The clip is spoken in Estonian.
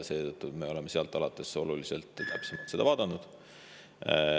Seetõttu me oleme sealt alates seda oluliselt täpsemalt vaadanud.